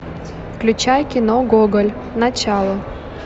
включай кино гоголь начало